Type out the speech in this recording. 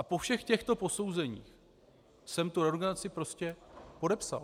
A po všech těchto posouzeních jsem tu reorganizaci prostě podepsal.